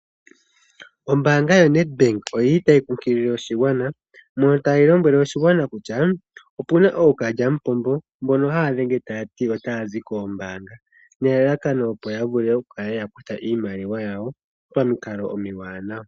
Ombaanga yoNedbank oyi li tayi kunkilile oshigwana mono tayi lombwele oshigwana kutya opu na ookalyamupombo mbono haya dhenge taya ti kutya otaya zi koombaanga nelalakano, opo ya vule okuya kutha iimaliwa yawo pamikalo omiwanawa.